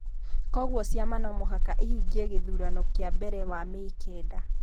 kwoguo ciama no mũhaka ihingie gĩthurano kĩa mbere wa Mĩĩ kenda.